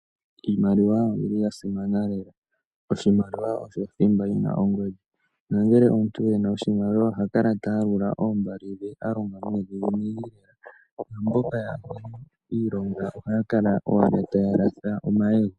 Iimaliwa oyili yasimana lela. Oshimaliwa osho thimba yina ongodhi, nongele omuntu ena oshimaliwa ohakala taya lula oombali dhe a longa nuudhiginini. Opo mboka yaana iilongo ohaya kala owala taya latha omayego.